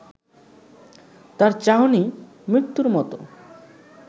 তার চাহনি মৃত্যুর মতো